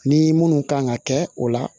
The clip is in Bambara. Ni munnu kan ka kɛ o la